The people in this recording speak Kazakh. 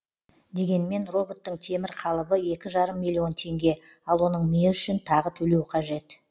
дегенмен роботтың темір қалыбы екі жарым миллион теңге ал оның миы үшін тағы төлеу қажет